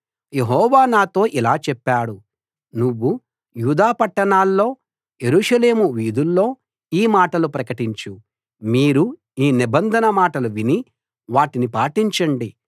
యెహోవా నాతో ఇలా చెప్పాడు నువ్వు యూదా పట్టణాల్లో యెరూషలేము వీధుల్లో ఈ మాటలు ప్రకటించు మీరు ఈ నిబంధన మాటలు విని వాటిని పాటించండి